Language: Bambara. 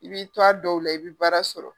I b'i to a dɔw la i bɛ baara sɔrɔ.